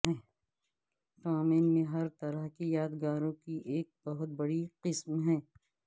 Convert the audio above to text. ٹومین میں ہر طرح کی یادگاروں کی ایک بہت بڑی قسم ہے